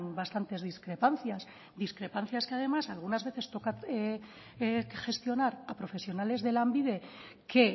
bastantes discrepancias discrepancias que además algunas veces toca gestionar a profesionales de lanbide que